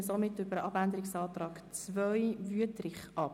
Wir stimmen somit über den Abänderungsantrag 2 von Grossrat Wüthrich ab.